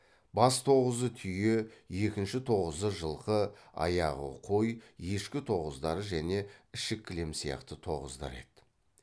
бас тоғызы түйе екінші тоғызы жылқы аяғы қой ешкі тоғыздары және ішік кілем сияқты тоғыздар еді